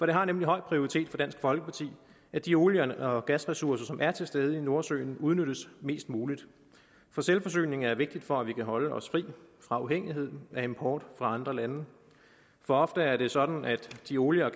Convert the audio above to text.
det har nemlig høj prioritet for dansk folkeparti at de olie og gasressourcer som er til stede i nordsøen udnyttes mest muligt for selvforsyningen er vigtig for at vi kan holde os fri af afhængigheden af import fra andre lande for ofte er det sådan at de olie og